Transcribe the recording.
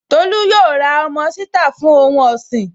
Tolú yóò ra ọmọ ṣítà fún ohun ọ̀sìn